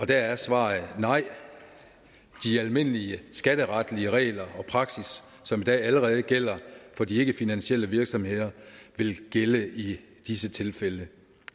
der er svaret nej de almindelige skatteretlige regler og praksis som i dag allerede gælder for de ikkefinansielle virksomheder vil gælde i disse tilfælde